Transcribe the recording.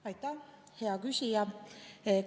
Aitäh, hea küsija!